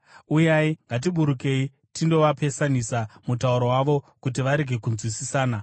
Uyai, ngatiburukei tindovapesanisa mutauro wavo kuti varege kunzwisisana.”